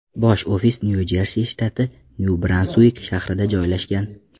Bosh ofisi Nyu-Jersi shtati, Nyu-Bransuik shahrida joylashgan.